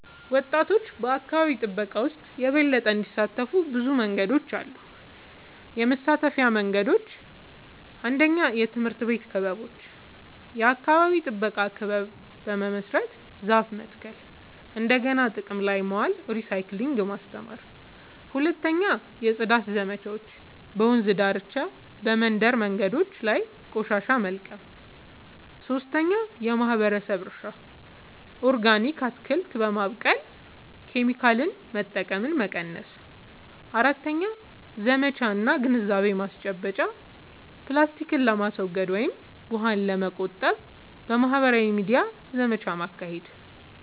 ወጣቶች በአካባቢ ጥበቃ ውስጥ የበለጠ እንዲሳተፉ ብዙ መንገዶች አሉ -የመሳተፊያ መንገዶች፦ 1. የትምህርት ቤት ክበቦች – የአካባቢ ጥበቃ ክለብ በመመስረት ዛፍ መትከል፣ እንደገና ጥቅም ላይ ማዋል (recycling) ማስተማር። 2. የጽዳት ዘመቻዎች – በወንዝ ዳርቻ፣ በመንደር መንገዶች ላይ ቆሻሻ መልቀም። 3. የማህበረሰብ እርሻ – ኦርጋኒክ አትክልት በማብቀል ኬሚካል መጠቀምን መቀነስ። 4. ዘመቻ እና ግንዛቤ ማስጨበጫ – ፕላስቲክን ለማስወገድ ወይም ውሃን ለመቆጠብ በማህበራዊ ሚዲያ ዘመቻ ማካሄድ።